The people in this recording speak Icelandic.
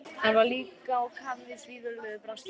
Hann var líka á kafi í svívirðilegu braski.